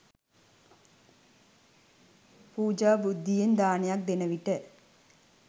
පූජා බුද්ධියෙන් දානයක් දෙන විට